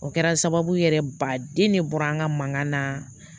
O kɛra sababu yɛrɛ ba den ne bɔra an ka mankan na